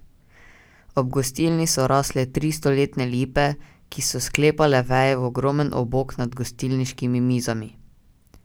Ob gostilni so rasle tri stoletne lipe, ki so sklepale veje v ogromen obok nad gostilniškimi mizami.